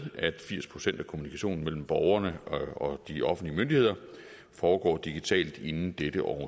at firs procent af kommunikationen mellem borgerne og de offentlige myndigheder foregår digitalt inden dette års